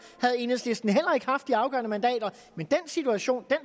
havde enhedslisten heller ikke haft de afgørende mandater den situation